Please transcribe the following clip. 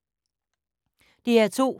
DR2